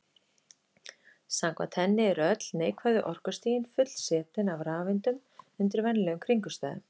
Samkvæmt henni eru öll neikvæðu orkustigin fullsetin af rafeindum undir venjulegum kringumstæðum.